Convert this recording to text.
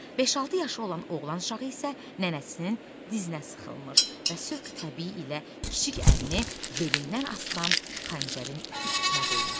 Beş-altı yaşı olan oğlan uşağı isə nənəsinin dizinə sıxılmış və sövq-təbii ilə kiçik əlini belindən asılan xəncərin üstünə qoymuşdu.